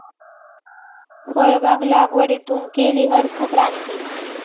फळबाग लागवडीतून केली अर्थक्रांती